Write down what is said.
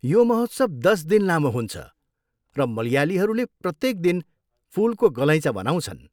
यो महोत्सव दस दिन लामो हुन्छ र मलयालीहरूले प्रत्येक दिन फुलको गलैँचा बनाउँछन्।